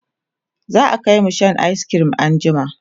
za'a Kai mu Shan ayis cream an jima